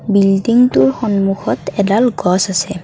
বিল্ডিংটোৰ সন্মুখত এডাল গছ আছে।